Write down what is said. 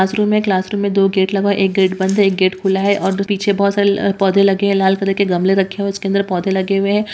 Classroom है classroom में दो गेट लगा है एक गेट बंद है एक गेट खुला है और दो पीछे बहुत सारे पौधे लगे हैं लाल कलर के गमले रखे हुए हैं इसके अंदर पौधे लगे हुए हैं।